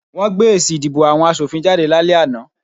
Wọ́n gbé èsì ìdìbò àwọn asòfin jáde lálẹ́ àná